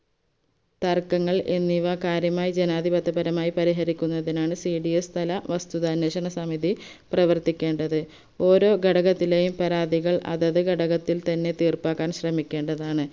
തർക്കങ്ങൾ എന്നിവ കാര്യമായി ജനാതിപത്യപരമായി പരിഹരിക്കുന്നതിനാണ് cds തല വസ്തുതാന്വേഷണസമിതി പ്രവർത്തിക്കേണ്ടത് ഓരോ ഘടകത്തിലെയും പരാതികൾ അതത് ഘടകത്തിൽ തന്നെ തീർപ്പാക്കാൻ ശ്രമിക്കേണ്ടതാണ്